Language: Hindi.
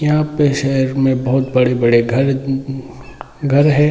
यहाँ पे शहर में बहुत बड़े-बड़े घर घर हैं ।